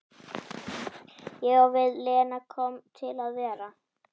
Ég á við, Lena komin til að vera?